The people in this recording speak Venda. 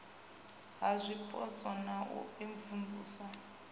ha zwipotso na u imvumvusa